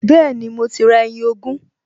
Bẹ́ẹ̀ni, mo ti ra ẹyin ogún